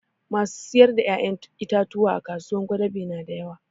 Masu sayar da ƴaƴan itatuwa a kasuwar gwadabe na da yawa